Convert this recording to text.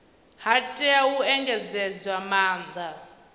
ha tea u engedzedzwa maanda